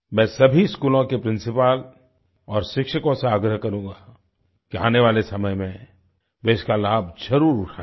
मैं सभी स्कूलों के प्रिंसिपल और शिक्षकों से आग्रह करूँगा कि आने वाले समय में वे इसका लाभ जरुर उठायें